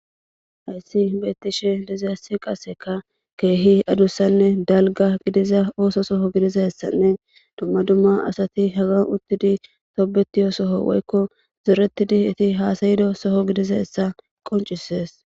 Hayssi beettishe dizayssi qaseka keehi adussanne dalga gidiza ooso soho gidizassanne dumma dumma asati haga uttidi toobeti soho woykko zoretidi eti haasayido soho gidiza hessa qoncisees.